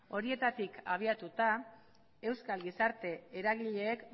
horietatik abiatuta euskal gizarte eragileek